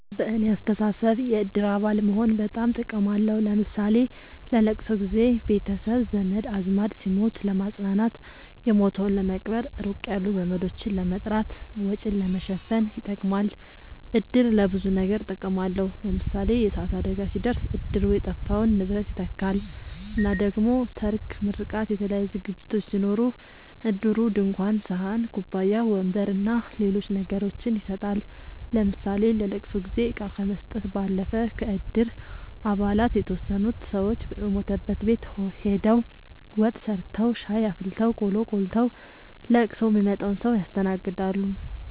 በኔ አስተሳሰብ የእድር አባል መሆን በጣም ጥቅም አለዉ ለምሳሌ ለለቅሶ ጊዘ ቤተሰብ ዘመድአዝማድ ሲሞት ለማጽናናት የሞተዉን ለመቅበር ሩቅ ያሉ ዘመዶችን ለመጥራት ወጪን ለመሸፈን ይጠቅማል። እድር ለብዙ ነገር ጥቅም አለዉ ለምሳሌ የእሳት አደጋ ሲደርስ እድሩ የጠፋውን ንብረት ይተካል እና ደሞ ሰርግ ምርቃት የተለያዩ ዝግጅቶች ሲኖሩ እድሩ ድንኳን ሰሀን ኩባያ ወንበር አና ሌሎች ነገሮችን ይሰጣል ለምሳሌ ለለቅሶ ጊዜ እቃ ከመስጠት ባለፈ ከእድር አባላት የተወሰኑት ሰወች የሞተበት ቤት ሆደው ወጥ ሰርተዉ ሻይ አፍልተው ቆሎ ቆልተዉ ለቅሶ ሚመጣዉን ሰዉ ያስተናግዳሉ።